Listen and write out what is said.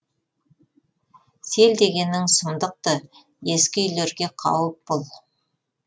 сел дегенің сұмдық ты ескі үйлерге қауіп бұл